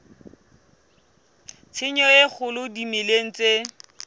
tshenyo e kgolo dimeleng tse